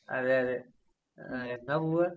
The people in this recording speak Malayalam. അതെയതെ. ആഹ് എന്നാ പോവാ?